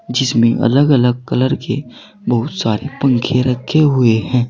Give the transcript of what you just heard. जिसमें अलग अलग कलर के बहुत सारे पंखे रखे हुए हैं।